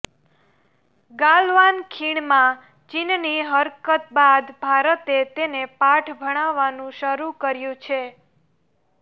ગાલવાન ખીણમાં ચીનની હરકત બાદ ભારતે તેને પાઠ ભણાવવાનું શરૂ કર્યું છે